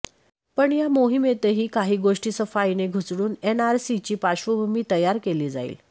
पण या मोहिमेतही काही गोष्टी सफाईने घुसडून एनआरसीची पार्श्वभूमी तयार केली जाईल